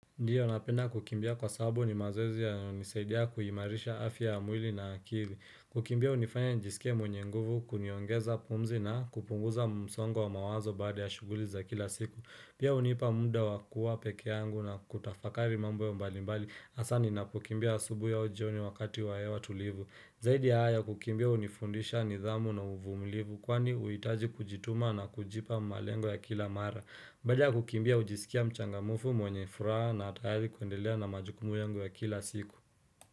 Ndiyo napenda kukimbia kwa sababu ni mazoezi ya nisaidia kuhimarisha afya ya mwili na akili. Kukimbia unifanya njisikie mwenye nguvu, kuniongeza pumzi na kupunguza msongo wa mawazo baada ya shuguliza kila siku. Pia unipa muda wakuwa peke yangu na kutafakari mambo ya mbalimbali asani na kukimbia asubui au jioni wakati wa hewa tulivu. Zaidi ya hayo kukimbia unifundisha nidhamu na uvumlivu kwani uitaji kujituma na kujipa malengo ya kila mara. Baada kukimbia ujisikia mchangamfu mwenye furaha na tayari kuendelea na majukumu yangu ya kila siku.